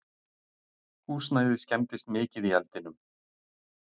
Húsnæðið skemmdist mikið í eldinum